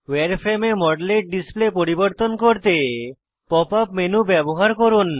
ভায়ার frame এ মডেলের display পরিবর্তন করতে pop ইউপি মেনু ব্যবহার করুন